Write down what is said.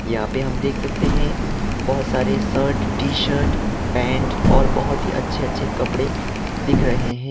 यहां पे हम देख सकते हैं बहोत सारे शर्ट टी शर्ट पैंट और बहोत ही अच्छे अच्छे कपड़े दिख रहे हैं।